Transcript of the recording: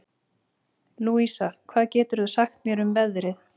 Louisa, hvað geturðu sagt mér um veðrið?